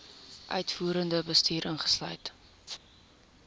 uitvoerende bestuur insluit